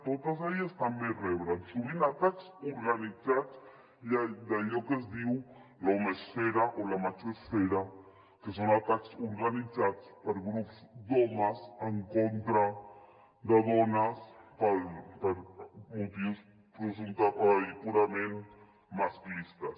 totes elles també reben sovint atacs organitzats i d’allò que es diu l’ homesfera o la machoesfera que són atacs organitzats per grups d’homes en contra de dones per motius purament masclistes